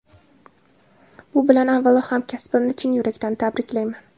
Bu bilan avvalo hamkasbimni chin yurakdan tabriklayman.